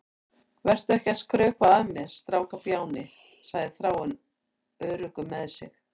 Vertu ekki að skrökva að mér, strákbjáni, segir Þráinn, öruggur með sig.